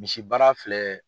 Misi baara filɛ